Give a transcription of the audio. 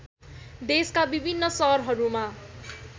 देशका विभिन्न सहरहरूमा